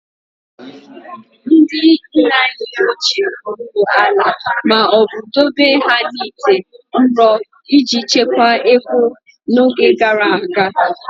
Ndị nna anyị ochie gwuru ala ma ọ bụ dobe ha n'ite ụrọ iji chekwaa ego n'oge gara aga